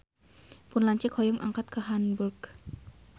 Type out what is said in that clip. Pun lanceuk hoyong angkat ka Hamburg